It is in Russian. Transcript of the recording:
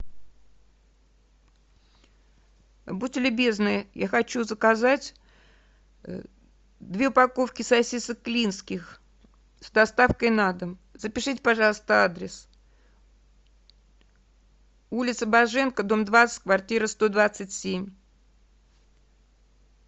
будьте любезны я хочу заказать две упаковки сосисок клинских с доставкой на дом запишите пожалуйста адрес улица боженко дом двадцать квартира сто двадцать семь